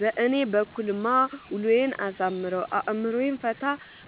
በእኔ በኩልማ ውሎዬን አሳምረው፣ አእምሮዬን ፈታ